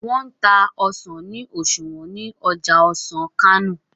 wón n tá ọsán ni oṣuwọn ní Ọjà ọsán Kano ní